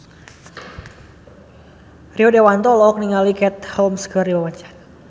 Rio Dewanto olohok ningali Katie Holmes keur diwawancara